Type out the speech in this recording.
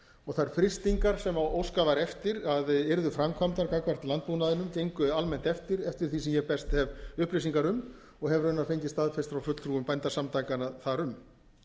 áfallaminnst þær frystingar sem óskað var eftir að yrðu framkvæmdar gagnvart landbúnaðinum engu almennt eftir eftir því sem ég best hef upplýsingar um og hef raunar fengið staðfest frá fulltrúum bændasamtakanna þar um